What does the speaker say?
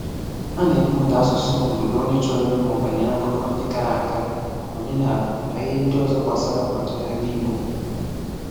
A na-eme ụda asụsụ mgbe onye chọrọ ịmụ banyere akụkọ ndị gara aga, omenala, na ihe ndị ọzọ gbasara ọdịnala Igbo.